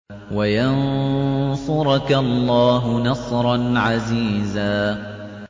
وَيَنصُرَكَ اللَّهُ نَصْرًا عَزِيزًا